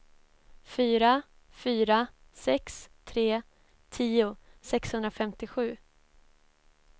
fyra fyra sex tre tio sexhundrafemtiosju